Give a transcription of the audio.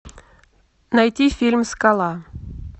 найти фильм скала